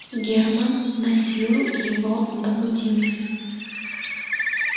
германн насилу его добудился